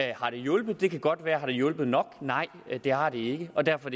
det har hjulpet det kan godt være men har det hjulpet nok nej det har det ikke og derfor